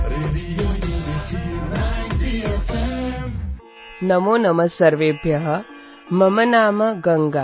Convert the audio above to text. radio unity ninety F